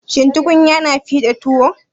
Shin tukunya na fiɗa tuwo?